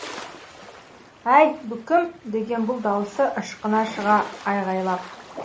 әй бұ кім деген бұл даусы ышқына шыға айғайлап